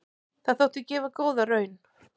Það þótti gefa góða raun.